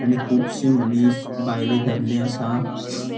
आणि खुबशे मनिस बायले दादले असा.